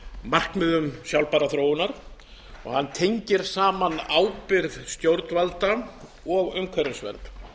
markmiðum sjálfbærrar þróunar og hann tengir saman ábyrgð stjórnvalda og umhverfisvernd